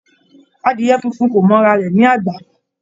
Adìẹ funfun kò mọ ara rẹ̀ ní àgbà.